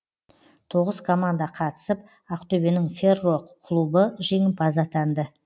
тоғыз команда қатысып ақтөбенің ферро клубы жеңімпаз атанды